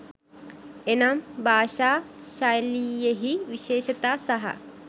එනම්, භාෂා ශෛලියෙහි විශේෂතා සහ